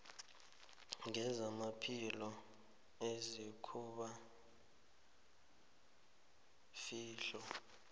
ngezamaphilo izakuba yifihlo